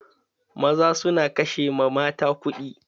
Maza su na ƙashe ma mata kuɗi.